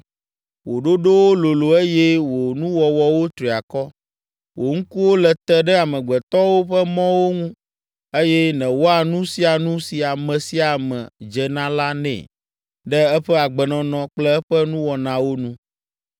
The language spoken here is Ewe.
wò ɖoɖowo lolo eye wò nuwɔwɔwo tri akɔ. Wò ŋkuwo le te ɖe amegbetɔwo ƒe mɔwo ŋu eye nèwɔa nu sia nu si ame sia ame dze na la nɛ ɖe eƒe agbenɔnɔ kple eƒe nuwɔnawo nu.